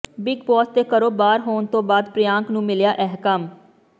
big Boss ਦੇ ਘਰੋਂ ਬਾਹਰ ਹੋਣ ਤੋਂ ਬਾਅਦ ਪ੍ਰਿਯਾਂਕ ਨੂੰ ਮਿਲਿਆ ਇਹ ਕੰਮ